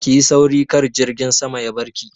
Ki yi sauri kar jirgin sama ya barki!